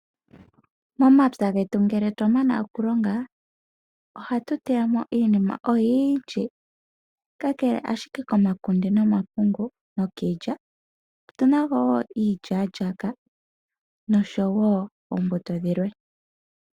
Momapya getu ngele twa mana oku longa, ohatu teya mo iinima oyindji. Kakele ashike komakunde nomapungu nokiilya, otu na mo wo iilyaalyaaka, nosho wo oombuto dhilwe.